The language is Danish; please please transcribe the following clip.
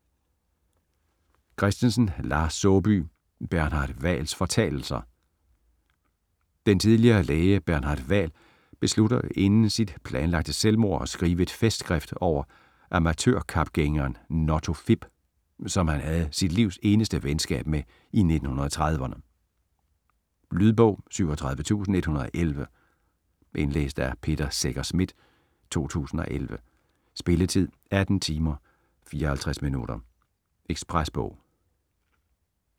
Christensen, Lars Saabye: Bernhard Hvals fortalelser Den tidligere læge Bernhard Hval beslutter inden sit planlagte selvmord at skrive et festskrift over amatørkapgængeren Notto Fipp, som han havde sit livs eneste venskab med i 1930'erne. Lydbog 37111 Indlæst af Peter Secher Schmidt, 2011. Spilletid: 18 timer, 54 minutter. Ekspresbog